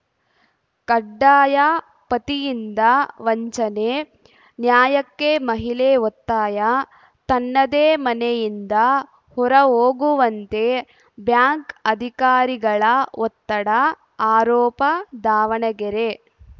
ಕಡ್ಡಾಯ ಪತಿಯಿಂದ ವಂಚನೆ ನ್ಯಾಯಕ್ಕೆ ಮಹಿಳೆ ಒತ್ತಾಯ ತನ್ನದೇ ಮನೆಯಿಂದ ಹೊರ ಹೋಗುವಂತೆ ಬ್ಯಾಂಕ್‌ ಅಧಿಕಾರಿಗಳ ಒತ್ತಡ ಆರೋಪ ದಾವಣಗೆರೆ